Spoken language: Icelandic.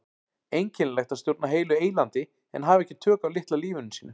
Einkennilegt að stjórna heilu eylandi en hafa ekki tök á litla lífinu sínu.